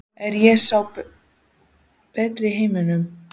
Er ég sá besti í heiminum?